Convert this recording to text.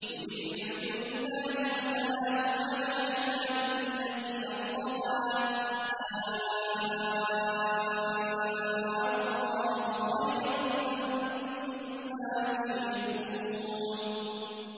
قُلِ الْحَمْدُ لِلَّهِ وَسَلَامٌ عَلَىٰ عِبَادِهِ الَّذِينَ اصْطَفَىٰ ۗ آللَّهُ خَيْرٌ أَمَّا يُشْرِكُونَ